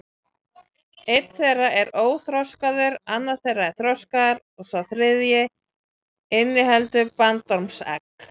Einn þeirra er óþroskaður, annar er þroskaður og sá þriðji inniheldur bandormsegg.